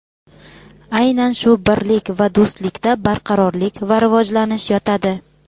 Aynan shu birlik va do‘stlikda barqarorlik va rivojlanish yotadi.